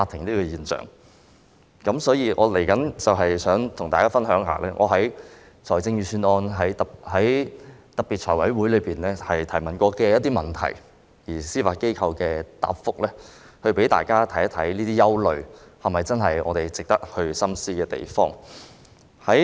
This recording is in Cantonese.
稍後，我想與大家分享一下我曾在財務委員會審核預算案的特別會議上提出的一些問題，以及司法機構的答覆，好讓大家看看這些憂慮是否有值得我們深思的地方。